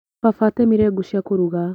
Baba atemire ngũ cia kũruga.